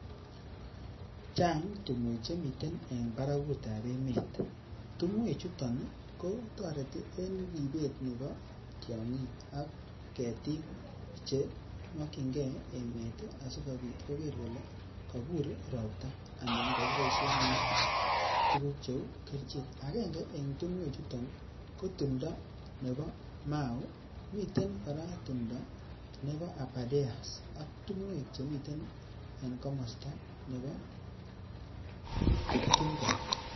Chang tumwek chemiten en barakutab emet, tumwek chuton kotoreti en ribet nebo tiong'ik ak ketik chemokienge emet asikobit koker kole kakur robta anan kikiboisien tuguk cheuu kerichek. Akenge en tumwek chuton ko tumtob nebo mau, miten kora nebo abardeas ak tumwek chemiten kamasuek nebo kiptungo